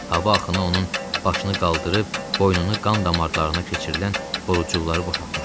Hava axını onun başını qaldırıb boynunu qan damarlarına keçirilən borucuqları boşaltmışdı.